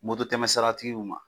Moto tɛmɛ sira tigiw ma